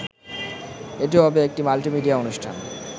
এটি হবে একটি মাল্টিমিডিয়া অনুষ্ঠান